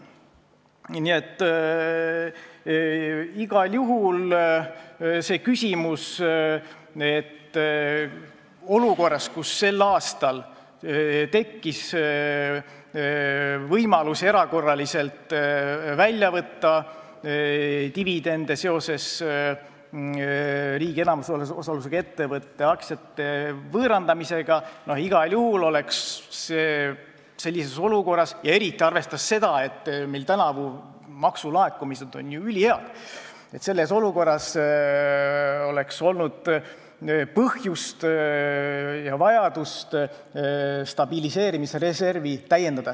Nii et igal juhul on siin see küsimus, et sellises olukorras – sel aastal tekkis võimalus erakorraliselt võtta välja dividende seoses riigi enamusosalusega ettevõtte aktsiate võõrandamisega, arvestades eriti seda, et meil on tänavu ju ülihead maksulaekumised – oleks olnud põhjust ja vajadust stabiliseerimisreservi täiendada.